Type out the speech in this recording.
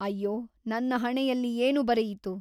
ಅಯ್ಯೋ ನನ್ನ ಹಣೆಯಲ್ಲಿ ಏನು ಬರೆಯಿತು?